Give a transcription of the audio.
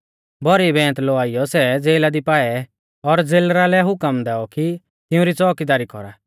भौरी बैंत लौआइयौ सै ज़ेला दी पाऐ और ज़ेलरा लै हुकम दैऔ कि तिउंरी च़ोउकीदारी कौरा